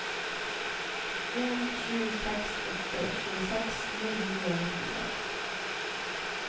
en sju seks åtte tjueseks ni hundre og nittiseks